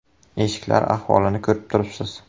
Eshiklar ahvolini ko‘rib turibsiz.